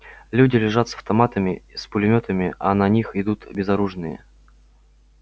люди лежат с автоматами с пулемётами а на них идут безоружные